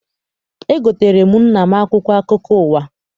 Egoteere m nna m akwụkwọ akụkọ ụwa.